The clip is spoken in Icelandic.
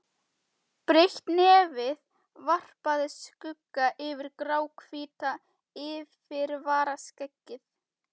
Breitt nefið varpaði skugga yfir gráhvítt yfirvaraskeggið.